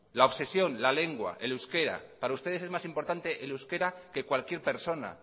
la obsesión la lengua el euskera para ustedes es más importante el euskera que cualquier persona